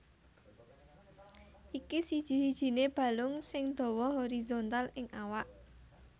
Iki siji sijiné balung sing dawa horizontal ing awak